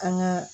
An ka